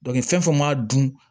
fɛn o fɛn ma dun